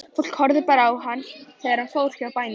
Fólk horfði á hann þegar hann fór hjá bæjum.